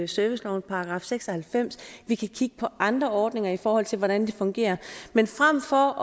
servicelovens § seks og halvfems vi kan kigge på andre ordninger i forhold til hvordan det fungerer men frem for